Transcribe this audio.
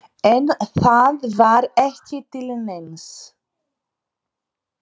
En það var ekki til neins.